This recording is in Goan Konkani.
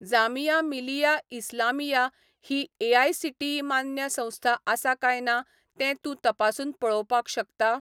जामिया मिलिया इस्लामिया ही एआयसीटीई मान्य संस्था आसा काय ना तें तूं तपासून पळोवपाक शकता?